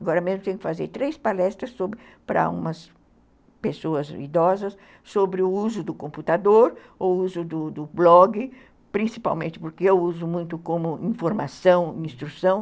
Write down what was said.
Agora mesmo tenho que fazer três palestras para umas pessoas idosas sobre o uso do computador, o uso do do blog, principalmente porque eu uso muito como informação, instrução.